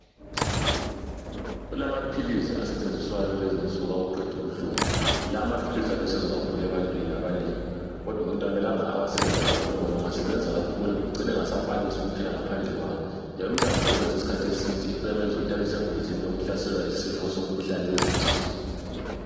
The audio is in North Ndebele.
kulamaphilisi asetshenziswayo kulezi insuku okuqeda ubuhlungu lamaphilisi alusizo kakhulu ebantwini abanengi kodwa umuntu akumelanga awasebenzise kakhulu ngoba engasebenza kakhulu ucina engasakwanisi ukuphila ngaphandle kwawo njalo umuntu engawasebenzisa isikhathi eside kuyamenza abe sengozini yokuhlaselwayisifo somkhuhlane wezinso